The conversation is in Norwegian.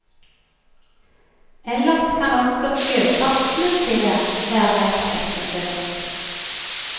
Ellers kan også sjøfartsmusèet være verdt et besøk.